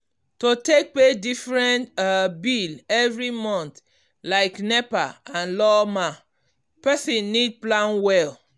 to take pay different um bill every month like nepa and lawma person need plan well. um